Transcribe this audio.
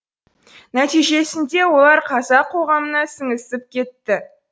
нәтижесінде олар қазақ қоғамына сіңісіп кетті